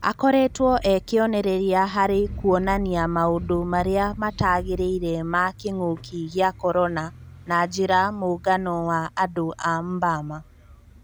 Akoretwo e-kĩonereria harĩ kuonania maũndũ marĩa matagĩrĩire ma kĩng'ũki gĩa Korona na njĩra mũngano wa andũ a Mbama.